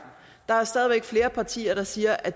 der er stadig væk flere partier der siger at